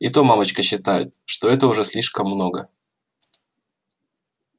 и то мамочка считает что это уже слишком много